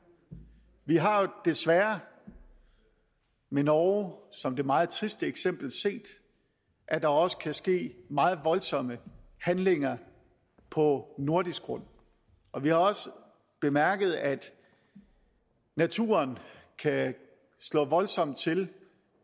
vi har desværre med norge som det meget triste eksempel set at der også kan ske meget voldsomme handlinger på nordisk grund vi har også bemærket at naturen kan slå voldsomt til